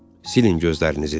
Silin gözlərinizi dedi.